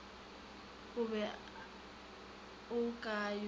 o be o ka yo